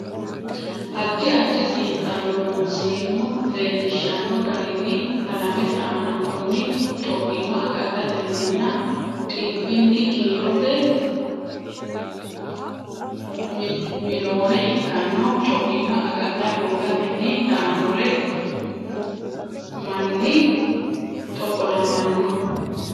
Addi addi xiinxallo Loonseemmo leellishshanno garinni Alamete aana konni co imma agadhateninna dhibbinni kiirote miloone ikkanno co imma agadha hoogatenni daannore manni xoqolamanno.